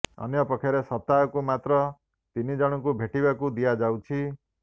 ଅନ୍ୟପକ୍ଷରେ ସପ୍ତାହକୁ ତାଙ୍କୁ ମାତ୍ର ତିନି ଜଣଙ୍କୁ ଭେଟିବାକୁ ଦିଆଯାଉଛି